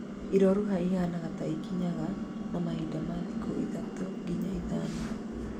Iroruha ihanaga ta ikinyaga na mahinda ma thikũ ithatũ nginya ithano